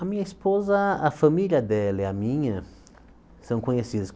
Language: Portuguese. A minha esposa, a família dela e a minha são conhecidas.